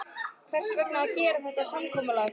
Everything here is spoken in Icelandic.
Hvers vegna að gera þetta samkomulag?